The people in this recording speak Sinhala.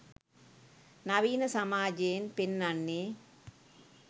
නවීන සමාජෙයෙන් පෙන්නන්නෙ.